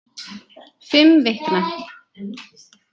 Fimm vikna